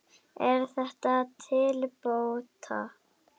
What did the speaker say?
Er þetta til bóta.